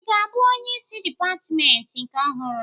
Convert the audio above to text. Ị ga-abụ onyeisi dịpatmentị nke ọhụrụ?